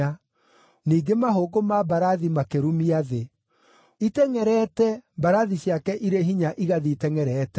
Ningĩ mahũngũ ma mbarathi makĩrumia thĩ, itengʼerete, mbarathi ciake irĩ hinya igathiĩ itengʼerete.